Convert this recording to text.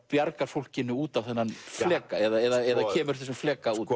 bjargar fólkinu út á þennan fleka eða kemur þessum fleka út